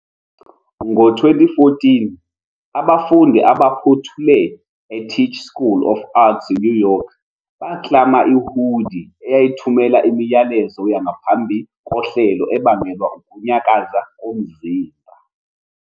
Ngo-2014, abafundi abaphothule eTisch School of Arts eNew York baklama i-hoodie eyayithumela imiyalezo yangaphambi kohlelo ebangelwa ukunyakaza komzimba.